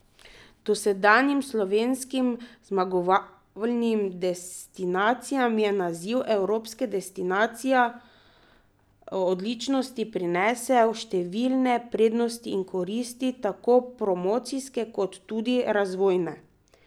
Dosedanjim slovenskim zmagovalnim destinacijam je naziv Evropska destinacija odličnosti prinesel številne prednosti in koristi, tako promocijske kot tudi razvojne.